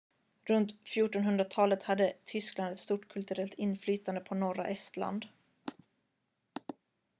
runt 1400-talet hade tyskland ett stort kulturellt inflytande på norra estland